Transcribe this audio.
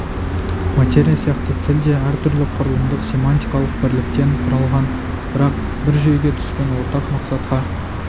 материя сияқты тіл де әртүрлі құрылымдық-семантикалық бірліктен құралған бірақ бір жүйеге түскен ортақ мақсатқа